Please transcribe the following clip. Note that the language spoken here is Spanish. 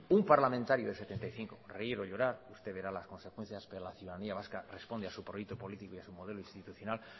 un parlamentario de setenta y cinco reír o llorar usted verá las consecuencias pero la ciudadanía vasca responde a su proyecto político y a su modelo institucional